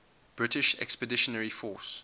british expeditionary force